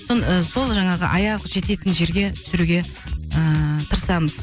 сол жаңағы аяғы жететін жерге түсіруге ыыы тырысамыз